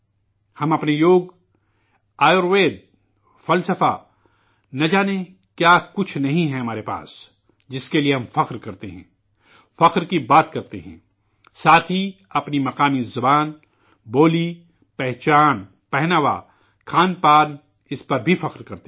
ہم اپنے یوگ، آیوروید، فلسفہ نہ جانے کیا کچھ نہیں ہے ہمارے پاس جس کے لیے ہم فخر کرتے ہیں ، فخر کی باتیں کرتے ہیں ساتھ ہی اپنی مقامی زبان ، بولی، پہچان، پوشاک ، کھان پان اس پر بھی فخر کرتے ہیں